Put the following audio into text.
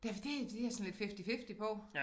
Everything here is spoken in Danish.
Det for det det jeg sådan lidt fifty fifty på